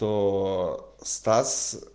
то стас